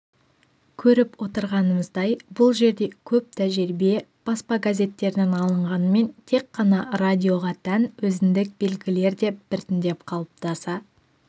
көріп отырғанымыздай бұл жерде көп тәжірибе баспа газеттерінен алынғанмен тек қана радиоға тән өзіндік белгілер де біртіндеп қалыптаса